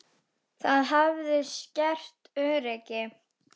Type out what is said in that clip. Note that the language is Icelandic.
Það hafi skert öryggi.